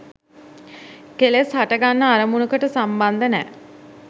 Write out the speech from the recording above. කෙලෙස් හටගන්න අරමුණකට සම්බන්ධ නෑ.